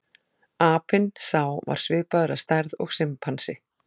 Apinn sá var svipaður að stærð og simpansi.